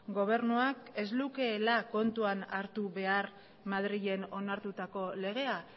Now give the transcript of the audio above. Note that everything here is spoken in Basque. gobernuak ez lukeela kontuan hartu behar madrilen onartutako legea